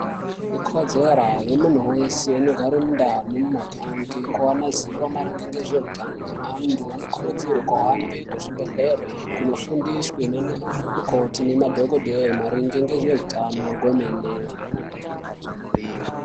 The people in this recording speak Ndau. Ikodzero yemuntu weshe vanogare mumandau nemumaganga kuona zivo naringe nezveutano. Antu anokurudzirwe kuhambe kuzvibhehlera kunofundiswa nanamukoti nemadhokodheya maringe ngezveutano kwemene.